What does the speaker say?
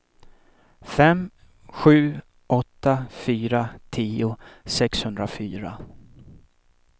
fem sju åtta fyra tio sexhundrafyra